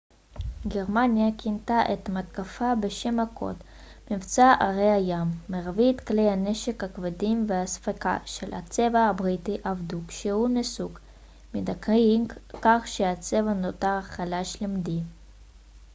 גרמניה כינתה את המתקפה בשם הקוד מבצע ארי הים מרבית כלי הנשק הכבדים והאספקה של הצבא הבריטי אבדו כשהוא נסוג מדנקירק כך שהצבא נותר חלש למדי